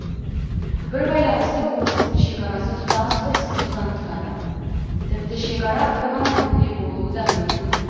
бір байланысты облыстың шекарасы тұтас бір сызықтан тұрады тіпті шекара бір ғана нүкте болуы да мүмкін